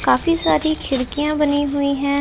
काफी सारी खिड़कियाँ बनी हुई हैं।